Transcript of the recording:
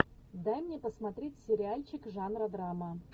дай мне посмотреть сериальчик жанра драма